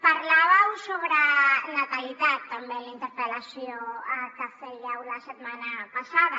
parlàveu sobre natalitat també en la interpel·lació que fèieu la setmana passada